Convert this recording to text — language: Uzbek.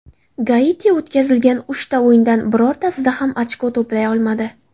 Gaiti o‘tkazilgan uchta o‘yindan birortasida ham ochko to‘play olmadi.